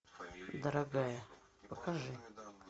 дорогая покажи